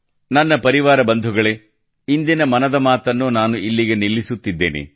ನನ್ನ ಪ್ರೀತಿಯ ಕುಟುಂಬಸ್ಥರೇ ಇಂದಿನ ಮನದ ಮಾತನ್ನು ನಾನು ಇಲ್ಲಿಗೆ ನಿಲ್ಲಿಸುತ್ತಿದ್ದೇನೆ